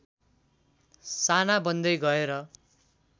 साना बन्दै गएर